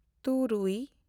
ᱛᱩᱨᱩᱭ